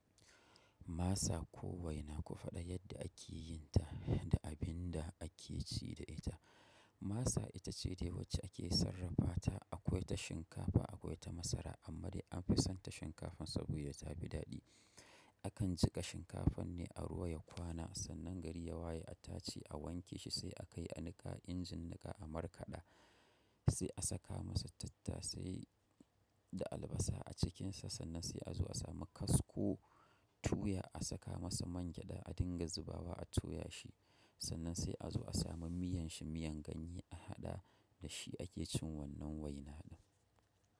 Masa ko waina faɗa yadda ake yin ta da abin da ake ci da ita. Masa ita ce dai wacce ake yi sarrafa ta akwai ta shinkafa akwai ta masara amma dai an fi son ta shinkafan saboda ta fi daɗi. A kan jiƙa shinkafan ne a ruwa ya kwana sannan gari ya waye a tace a wanke shi sai a kai a niƙa injin niƙa a markaɗa sai a saka masa tattasai da albasa a cikinsa sannan sai a zo a sami kasko tuya a saka masa man gyaɗa a dinga zubawa a toya shi sannan sai a zo a sami miyan shi miyan ganye a haɗa da shi ake cin wannan waina ɗin.